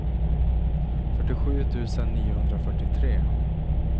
fyrtiosju tusen niohundrafyrtiotre